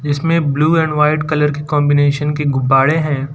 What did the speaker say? इसमें blue and white colour की combination के गुब्बारे हैं।